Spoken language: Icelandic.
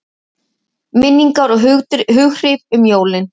Minningar og hughrif um jólin